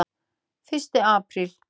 FYRSTI APRÍL